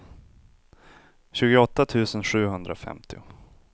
tjugoåtta tusen sjuhundrafemtio